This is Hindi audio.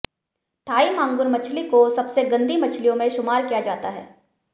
थाई मांगुर मछली को सबसेे गंदी मछलियों में शुमार किया जाता है